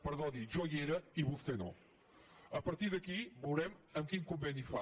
perdoni jo hi era i vostè no a partir d’aquí veurem quin conveni fa